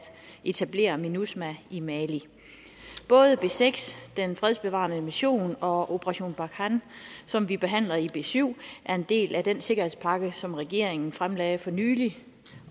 etablere minusma i mali både b seks den fredsbevarende mission og operation barkhane som vi behandler i b syv er en del af den sikkerhedspakke som regeringen fremlagde for nylig